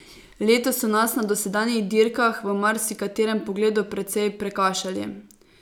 Letos so nas na dosedanjih dirkah v marsikaterem pogledu precej prekašali.